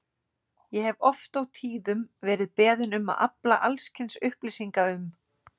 Ég hef oft og tíðum verið beðinn um að afla alls kyns upplýsinga um